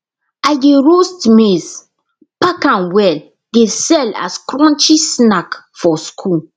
i dey roast maize pack am well dey sell as crunchy snack for school